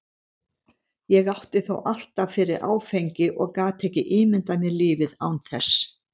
Ég átti þó alltaf fyrir áfengi og gat ekki ímyndað mér lífið án þess.